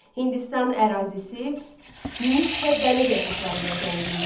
Hindistan ərazisi mis və dəmir yataqları ilə zəngindir.